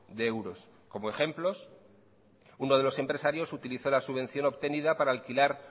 de euros como ejemplos uno de los empresarios utilizó la subvención obtenida para alquilar